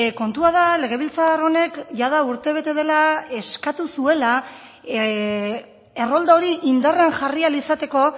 kontua da legebiltzar honek jada urte bete dela eskatu zuela errolda hori indarrean jarri ahal izateko